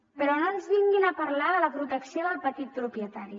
però no ens vinguin a parlar de la protecció del petit propietari